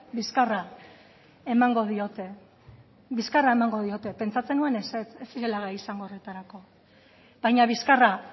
bizkarra emango diote bizkarra emango diote pentsatzen nuen ezetz ez zirela gai izango horretarako baina bizkarra